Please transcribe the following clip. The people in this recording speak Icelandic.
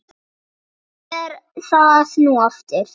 Hvað er það nú aftur?